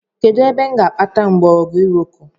Kedụ ebe m ga-akpata mgbọrọgwụ iroko?